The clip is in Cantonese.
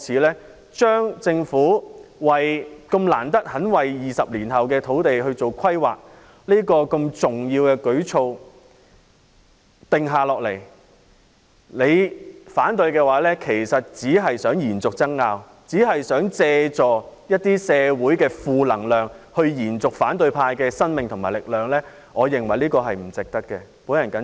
難得政府願意為20年後的土地供應進行規劃，並制訂如此重要的舉措，議員如果反對，其實只是想延續爭拗，想借助社會的一些負能量來延續反對派的生命和力量，我認為不值得這樣做。